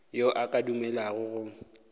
yo a ka dumelago go